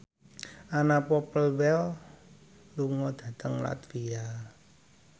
Anna Popplewell lunga dhateng latvia